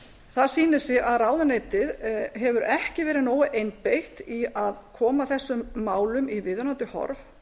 það sýnir sig að ráðuneytið hefur ekki verið nógu einbeitt í að koma þessum málum í viðunandi horf